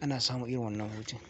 ana samun irin wannan hutun.